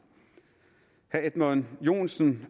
herre edmund joensen